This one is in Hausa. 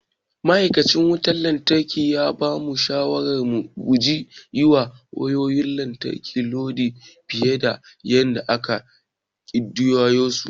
Ma'aikacin wutar lantarki ya bamu shawarar mu guji yiwa wayayoyin lantarki lodi fiye da yadda ake ƙididdige su.